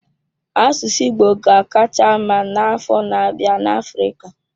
Asụsụ Igbo ga-akacha mma n'afọ na-abịa na Africa.